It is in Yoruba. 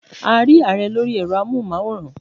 We saw the President on televisions